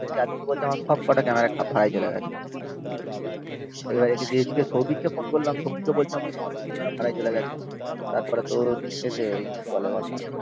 আদিত্য বলছে আমার সবকটা ক্যামেরা ভাড়ায় চলে গেছে। এবার এদিকে এদিকে সৌভিক কে ফোন করলাম সৌভিকও বলছে আমার সবকটা ক্যামেরা ভাড়ায় চলে গেছে। তারপর তোর এতে ওই কি বলে বলনা